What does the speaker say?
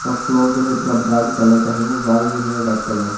Floor जो है पूरा ब्राऊन कलर का है दिवाल जो है व्हाइट कलर है।